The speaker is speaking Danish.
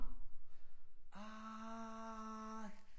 Ah